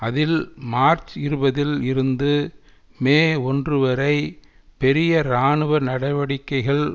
அதில் மார்ச் இருபதில் இருந்து மே ஒன்று வரை பெரிய இராணுவ நடவடிக்கைகள்